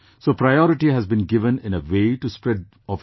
So priority has been given in a way to the spread of education